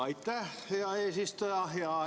Aitäh, hea eesistuja!